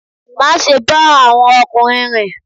Má ṣe ba àwọn okunrin rìn!